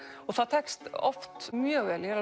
það tekst oft mjög vel ég er